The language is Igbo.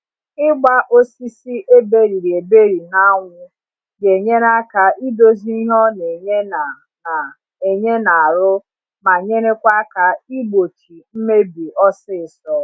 Ịgba osisi eberiri eberi na anwụ ga enyere aka idozi ihe ọ na enye na na enye na arụ ma nyerekwa aka igbochị mmebi ọsịsọ